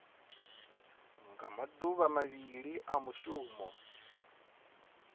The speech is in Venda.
nga maduvha mavhili a mushumo